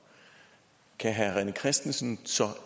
kan herre rené christensen så